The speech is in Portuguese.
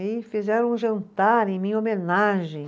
E fizeram um jantar em minha homenagem.